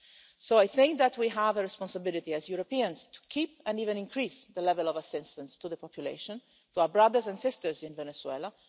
So I think that we have a responsibility as Europeans to keep and even increase the level of assistance to the population, to our brothers and sisters in Venezuela.